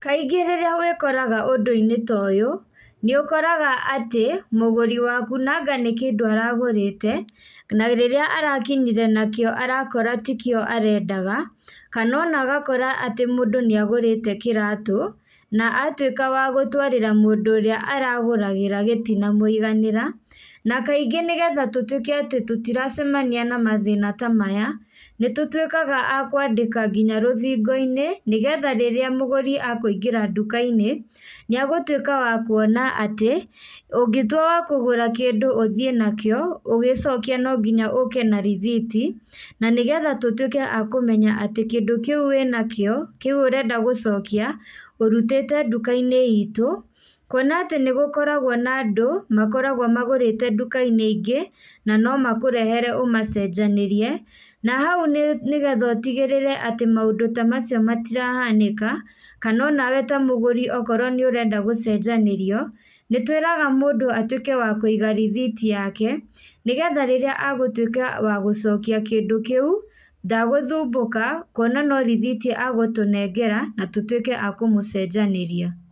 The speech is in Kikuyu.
Kaingĩ rĩrĩa wĩkoraga ũndũinĩ ta ũyũ, nĩũkoraga atĩ, mũgũri waku nanga nĩkĩndũ aragũrĩte, na rĩrĩa arakinyire nakĩo arakora tikĩo arendaga, kana ona agakora atĩ mũndũ nĩagũrĩte kĩratũ, na atuĩka wa gũtwarĩra mũndũ ũrĩa aragũragĩra gitinamwĩganĩra, na kaingĩ nĩgetha tũtuĩke atĩ tũtiracemania na mathĩna ta maya, nĩtũtuĩkaga a kwandĩka nginya rũthingoinĩ, nĩgetha rĩrĩa mũgũri akũingĩra ndũkainĩ, nĩagũtuĩka wa kwona atĩ, ũngĩtua wa kũgũra kĩndũ ũthiĩ nakio, ũgĩcokia no nginya ũke na rithiti, na nĩgetha tũtuĩke a akũmenya atĩ kĩndũ kĩũ wĩnakio, kĩũ ũrenda gũcokia, ũrutĩte ndukainĩ itũ, kuona atĩ nĩgũkoragwo na andũ, makoragwo magũrĩte ndukainĩ ingĩ, na no makũrehere ũmacenjanĩrie, na hau nĩ nĩgetha ũtigĩrĩre atĩ maũndũ ta macio matirahanĩka, kana ona we ta mũgũri okorwo nĩũrenda gũcenjanĩrio, nĩtwĩraga mũndũ atuĩke wa kũiga rithiti yake, nĩgetha rĩrĩa agũtuĩka wa gũcokia kindũ kĩũ, ndagũthumbũka, kuona no rithiti agũtũnengera, na tũtuĩke a kũmũcenjanĩria.